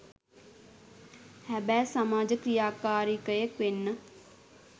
හැබෑ සමාජ ක්‍රියාකාරිකයෙක් වෙන්න